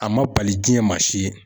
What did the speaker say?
A ma bali jiɲɛ ma si ye.